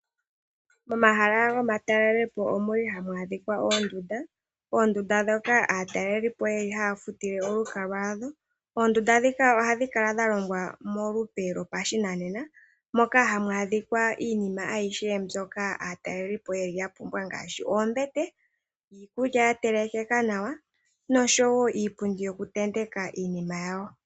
Pomahala gomatalelopo omuli hamu adhika oondunda, oondunda ndhoka aataleli po yeli haya futile. Oondunda ndhika ohadhi kala dha longwa molupe lyopashinanena moka hamu adhika iinima ayihe mbyoka aataleli po yeli ya pumbwa ngaashi oombete, iikulya ya telekekeka nawa noshowo iipundi yoku tenteka iinima.